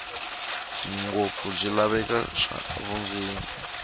ngopfu bya swilaveko swa vundzeni